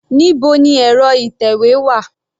Níbo ni ẹ̀rọ ìtẹ̀wé wà?